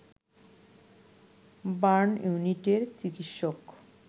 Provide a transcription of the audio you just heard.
burn ইউনিটের চিকিৎসক